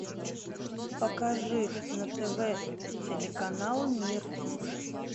покажи на тв телеканал мир